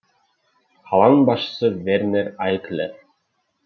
қаланың басшысы вернер айклер